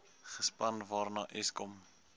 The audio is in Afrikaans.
gespan waarna eskom